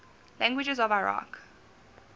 languages of iraq